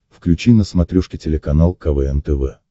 включи на смотрешке телеканал квн тв